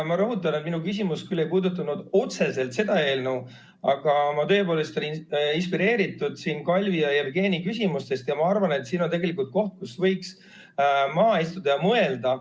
Ma rõhutan, et minu küsimus küll ei puudutanud otseselt seda eelnõu, aga ma tõepoolest olin inspireeritud Kalvi ja Jevgeni küsimustest ja ma arvan, et siin on tegelikult koht, kus võiks maha istuda ja mõelda.